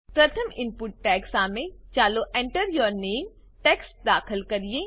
પ્રથમ input tag સામે ચાલો Enter યૂર નામે ટેક્સ્ટ દાખલ કરીએ